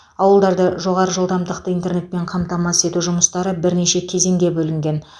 ауылдарды жоғары жылдамдықты интернетпен қамтамасыз ету жұмыстары бірнеше кезеңге бөлінген